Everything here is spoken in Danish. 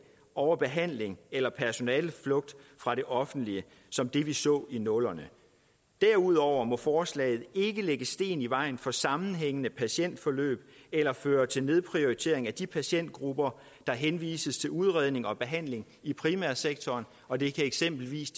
overbehandling eller personaleflugt fra det offentlige som det vi så i nullerne derudover må forslaget ikke lægge sten i vejen for sammenhængende patientforløb eller føre til nedprioritering af de patientgrupper der henvises til udredning og behandling i primærsektoren og det kan eksempelvis